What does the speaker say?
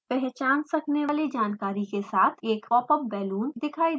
पहचान सकने वाली जानकारी के साथ एक popup balloon दिखाई देता है